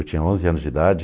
Eu tinha onze anos de idade.